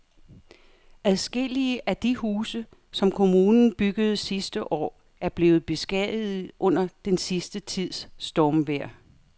Adskillige af de huse, som kommunen byggede sidste år, er blevet beskadiget under den sidste tids stormvejr.